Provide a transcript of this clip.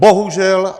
Bohužel.